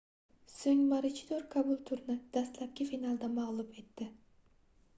soʻng maruchidor kabulturni dastlabki finalda magʻlub etdi